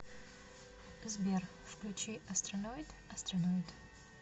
сбер включи астроноид астроноид